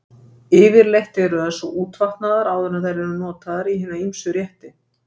Yfirleitt eru þær svo útvatnaðar áður en þær eru notaðar í hina ýmsu rétti.